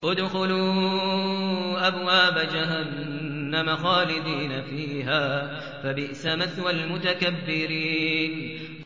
ادْخُلُوا أَبْوَابَ جَهَنَّمَ خَالِدِينَ فِيهَا ۖ فَبِئْسَ مَثْوَى الْمُتَكَبِّرِينَ